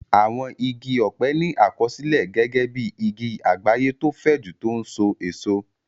Àwọn igi ọ̀pẹ ní àkọsílẹ̀ gẹ́gẹ́ bí igi àgbáyé tó fẹ̀jú tó n so èso